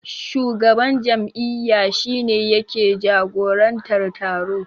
Shugaban jam'iyya shi ne yake jagorantar taro.